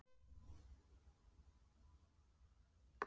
Lára: Hvers vegna fer rafmagnið til jarðar?